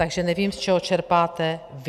Takže nevím, z čeho čerpáte vy.